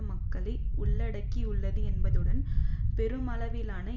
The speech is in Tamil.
மக்களை உள்ளடக்கி உள்ளது என்பதுடன் பெருமளவிலான